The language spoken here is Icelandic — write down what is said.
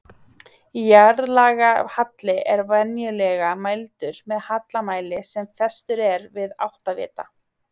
Jarðlagahalli er venjulega mældur með hallamæli sem festur er við áttavita.